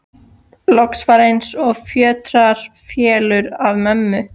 Loks var eins og fjötrar féllu af mömmu.